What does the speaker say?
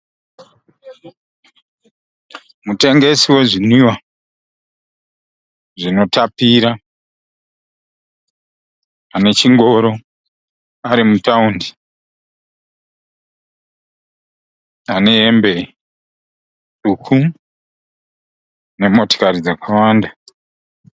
Mutengesi wezvinwiwa zvinotapira anechingoro ari mutaundi. Ane hembe tsvuku nemotokari dzakawanda.